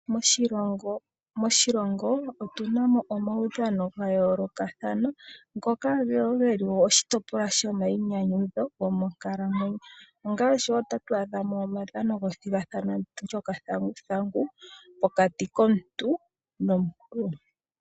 Moshilongo otuna mo omaudhano ga yoolokathana , ngoka woo geli oshitopolwa sho mayinyanyudho gomo nkalamwenyo. Ongaashi tatu adha mo omaudhano gomathigathano gokathanguthangu, pokati komuntu nomuntu.